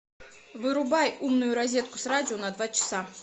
вырубай умную розетку с радио на два часа